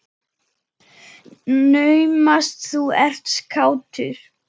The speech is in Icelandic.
Naumast þú ert kátur.